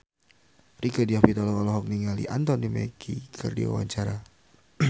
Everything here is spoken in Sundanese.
Rieke Diah Pitaloka olohok ningali Anthony Mackie keur diwawancara